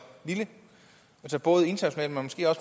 lille både internationalt